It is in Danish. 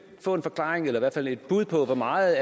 få en forklaring eller i hvert fald et bud på hvor meget